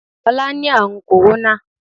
ọlá ni àrùn kòróná.